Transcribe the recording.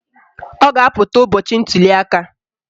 Ọ ga-apụta ụbọchị ntuliaka